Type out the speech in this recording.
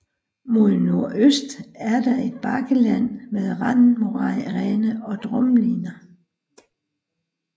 Mod nordøst er der et bakkeland med randmoræne og drumliner